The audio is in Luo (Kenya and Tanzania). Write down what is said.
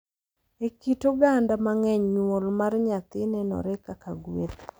E kit oganda mang’eny, nyuol mar nyathi nenore kaka gueth, .